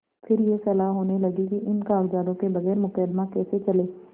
फिर यह सलाह होने लगी कि इन कागजातों के बगैर मुकदमा कैसे चले